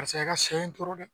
Paseke a ka sɛ in tora dɛ